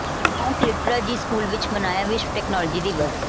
Mount Litera Zee school ਵਿਚ ਮਨਾਇਆ ਵਿਸ਼ਵ ਟੈਕਨਾਲੋਜੀ ਦਿਵਸ